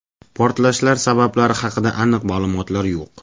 Portlashlar sabablari haqida aniq ma’lumotlar yo‘q.